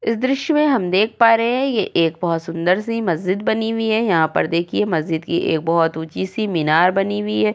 इस दृश्य में देख पा रहा है ये एक बोहोत सुंदर से मस्जिद बनी हुई है। यहां पर देखिए मस्जिद की एक बोहोत ऊंची सी मिनार बनी हुई है।